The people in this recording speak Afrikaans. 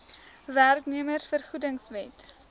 werknemers vergoedings wet